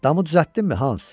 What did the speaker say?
Damı düzəltdinmi Hans?